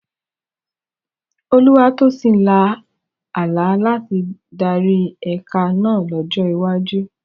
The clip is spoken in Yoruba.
Olúwatósìn lá àlá láti darí ẹ̀ka náà lọ́jọ́ iwájú.